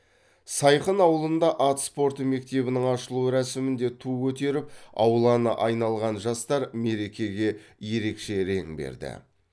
сайқын ауылында ат спорты мектебінің ашылу рәсімінде ту көтеріп ауланы айналған жастар мерекеге ерекше рең берді